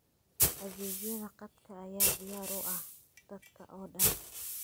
Adeegyada khadka ayaa diyaar u ah dadka oo dhan.